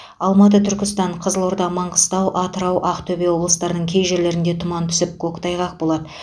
алматы түркістан қызылорда маңғыстау атырау актөбе облыстарының кей жерлерінде тұман түсіп көктайғақ болады